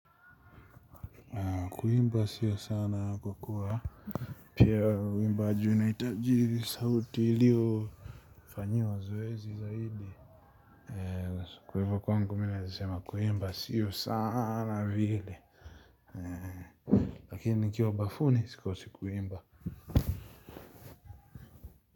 Kuimba sio sana kwa kuwa pia uimbaji unahitaji sauti iliyo fanyiwa zoezi zaidi. Kwa hivo kwangu mi naezi sema kuimba sio sana vile. Lakini nikiwa bafuni sikosi kuimba.